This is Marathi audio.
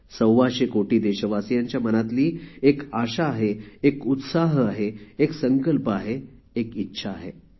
सव्व्वाशे कोटी देशवासियांच्या मनातली एक आशा आहे एक उत्साह आहे एक संकल्प आहे एक इच्छा आहे